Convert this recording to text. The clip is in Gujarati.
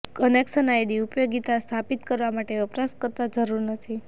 કનેક્શન આઈડી ઉપયોગિતા સ્થાપિત કરવા માટે વપરાશકર્તા જરૂર નથી